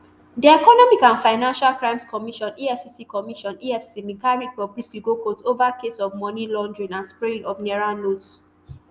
di economic and financial crimes commission efcc commission efcc bin carry bobrisky go court ova case of money laundering and spraying of naira notes